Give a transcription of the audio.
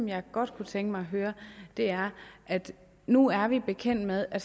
jeg godt kunne tænke mig at høre er nu er vi bekendt med at